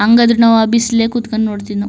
ಹಂಗಾದ್ರು ನಾವು ಆ ಬಿಸಿಲಲ್ಲೇ ಕೂತುಕೊಂಡು ನೋಡ್ತಿದ್ವು --